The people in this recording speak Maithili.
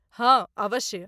हाँ, अवश्य ।